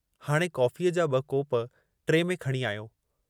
हाणे कॉफ़ीअ जा ॿ कोप ट्रे में खणी आयो।